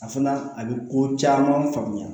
A fana a bɛ ko caman faamuya